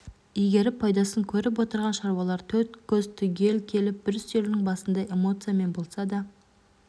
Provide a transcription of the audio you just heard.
игеріп пайдасын көріп отырған шаруалар төрт көз түгел келіп бір үстелдің басында эмоциямен болса да